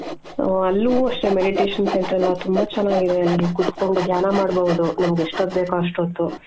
ಅಲ್ಲೂ ಅಷ್ಟೆ meditation Centre ಎಲ್ಲಾ ತುಂಬಾ ಚೆನಾಗ್ ಇದೆ ಅಲ್ಲಿ ಕುತ್ಕೊಂಡು ಧ್ಯಾನ ಮಾಡ್ಬಹುದು. ನಮಿಗ್ ಎಷ್ಟೊತ್ ಬೇಕೋ ಅಷ್ಟೊತ್ತು.